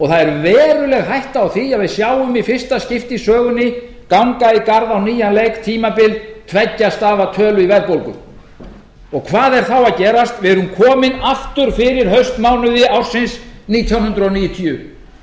er veruleg hætta á því að við sjáum í fyrsta skipti í sögunni ganga í garð á nýjan leik tímabil tveggja stafa tölu í verðbólgu hvað er þá að gerast við erum komin aftur fyrir haustmánuði ársins nítján hundruð níutíu því